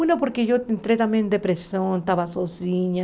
Uma, porque eu entrei também em depressão, estava sozinha.